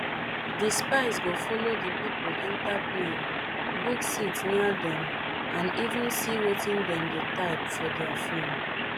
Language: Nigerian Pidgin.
di spies go follow di pipo enta plane book seat near dem and even see wetin dem dey type for dia phone